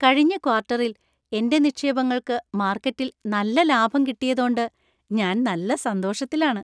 കഴിഞ്ഞ ക്വാർട്ടറിൽ എന്‍റെ നിക്ഷേപങ്ങൾക്ക് മാർക്കറ്റിൽ നല്ല ലാഭം കിട്ടിയതോണ്ട് ഞാൻ നല്ല സന്തോഷത്തിലാണ്.